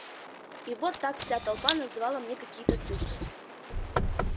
и вот так вся толпа называла мне какие-то цифры